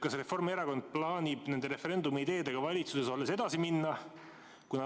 Kas Reformierakond plaanib nende referendumi ideedega valitsuses olles edasi minna?